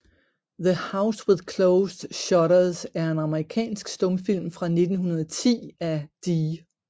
The House with Closed Shutters er en amerikansk stumfilm fra 1910 af D